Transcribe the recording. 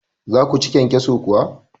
za ku ci kyankyaso kuwa?